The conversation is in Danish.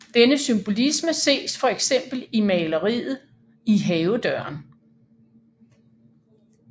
Denne symbolisme ses for eksempel i maleriet I havedøren